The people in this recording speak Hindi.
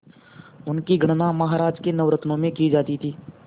उनकी गणना महाराज के नवरत्नों में की जाती थी